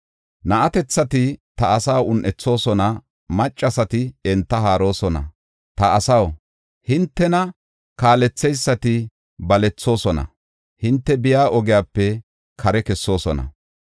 Na7atethati ta asaa un7ethoosona; maccasati enta haaroosona. Ta asaw, hintena kaaletheysati balethoosona; hinte biya ogiyape kare kessoosona.